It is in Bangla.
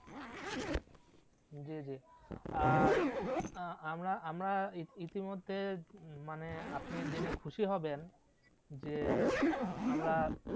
জি জি আর আমরা আমরা ইতি মধ্যে মানে আপনি জেনে খুশি হবেন যে আমরা